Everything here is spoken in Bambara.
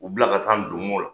U bila ka taa donmo la